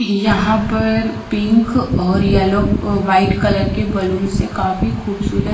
यहां पर पिंक और येलो अह व्हाइट कलर के बलून से काफी खूबसूरत--